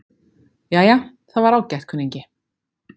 Jæja, það var ágætt, kunningi.